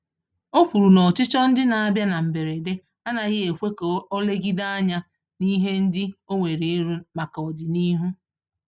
O kwùrù na ọchịchọ ndị n'abia na mberede, anaghị ekwe ka olegide ányá n'ihe ndị onwere ịrụ, màkà ọdịnihu